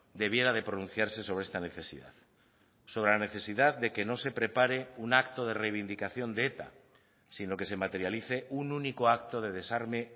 debiera de pronunciarse sobre esta necesidad sobre la necesidad de que no se prepare un acto de reivindicación de eta sino que se materialice un único acto de desarme